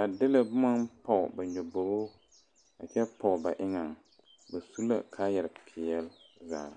a de boma poɔ ba nyɔboŋo ba su la kaayaare pɛle zaa.